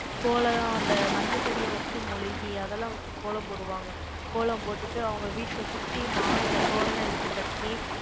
கோலம், அந்த மஞ்சள் பொடியை வச்சு, மொழுகி, அதெல்லாம் வச்சு, கோலம் போடுவாங்க. கோலம் போட்டுட்டு, அவங்க வீட்டுல சுத்தி, மா இலை தோரணை வச்சு கட்டி,